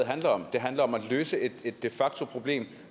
handler om det handler om at løse et de facto problem